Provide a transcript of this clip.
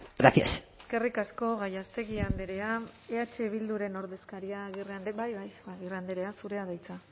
gracias eskerrik asko gallástegui andrea eh bilduren ordekaria agirre bai bai agirre andrea zurea da hitza